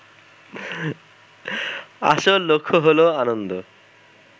আসল লক্ষ্য হলো আনন্দ